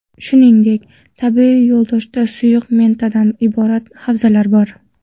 Shuningdek, tabiiy yo‘ldoshda suyuq metandan iborat havzalar bor.